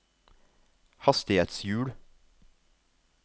hastighetshjul